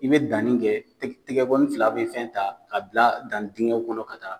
I bɛ danni kɛ tɛgɛ kɔni fila bɛ fɛn ta ka bila danni dingɛ kɔnɔ ka taa